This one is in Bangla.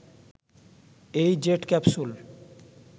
এই জেট ক্যাপসুল